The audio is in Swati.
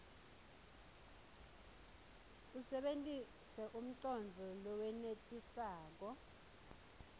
usebentise umcondvo lowenetisako